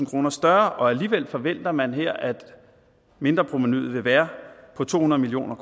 kroner større og alligevel forventer man her at mindreprovenuet vil være på to hundrede million